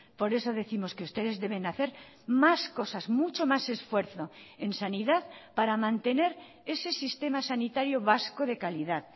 por eso décimos que ustedes deben hacer más cosas mucho más esfuerzo en sanidad para mantener ese sistema sanitario vasco de calidad